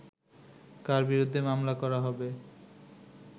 কার বিরুদ্ধে মামলা করা হবে